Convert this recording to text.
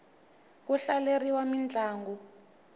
ku hlaleriwa mintlangu